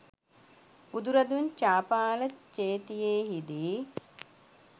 බුදුරදුන් චාපාල චේතියෙහිදී